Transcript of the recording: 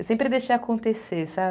Eu sempre deixei acontecer, sabe?